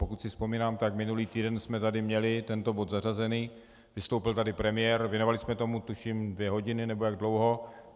Pokud si vzpomínám, tak minulý týden jsme tady měli tento bod zařazený, vystoupil tady premiér, věnovali jsme tomu tuším dvě hodiny nebo jak dlouho.